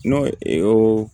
N'o e